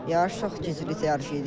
Yarış çox gərgin yarış idi.